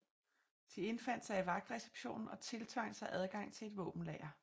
De indfandt sig i vagtreceptionen og tiltvang sig adgang til et våbenlager